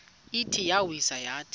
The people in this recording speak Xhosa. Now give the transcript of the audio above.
ithi iyawisa yathi